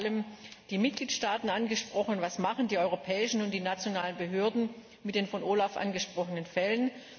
Hier sind vor allem die Mitgliedstaaten angesprochen. Was machen die europäischen und die nationalen Behörden mit den von OLAF angesprochenen Fällen?